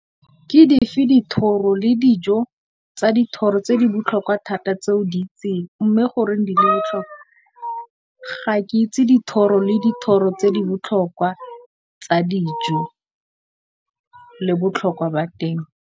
Ke dife dithoro le dijo tsa dithoro tse di botlhokwa thata tse o di itseng mme, goreng di le botlhokwa? Ga ke itse dithoro le dithoro tse di botlhokwa tsa dijo le botlhokwa ba teng.